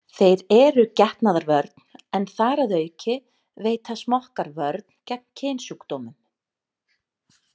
Þeir eru getnaðarvörn en þar að auki veita smokkar vörn gegn kynsjúkdómum.